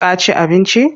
Ka ci abinci?